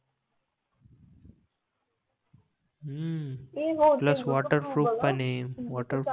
हम्म plus waterproof पण आहे